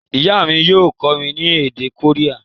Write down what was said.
Ìyá mi yio kómí ni èdè Korea